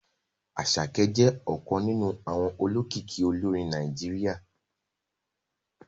Àṣàkẹ́ jẹ́ ọ̀kan nínú àwọn olókìkí olórin Nàìjíríà